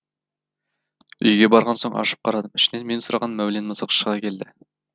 үйге барған соң ашып қарадым ішінен мен сұраған мәулен мысық шыға келді